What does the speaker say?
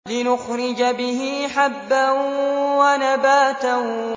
لِّنُخْرِجَ بِهِ حَبًّا وَنَبَاتًا